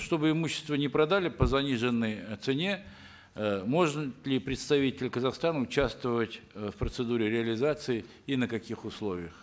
чтобы имущество не продали по заниженной э цене э может ли представитель казахстана участвовать э в процедуре реализации и на каких условиях